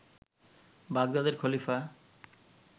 বাগদাদের খলিফা